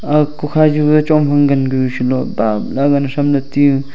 age kukha ju chong phai gangu salow bawle agan tham le teu.